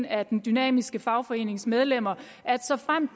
af den dynamiske fagforenings medlemmer at såfremt